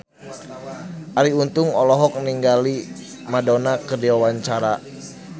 Arie Untung olohok ningali Madonna keur diwawancara